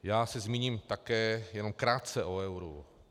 Já se zmíním také jenom krátce o euru.